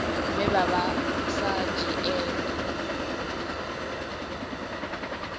vhe vha vha sa dzhielwi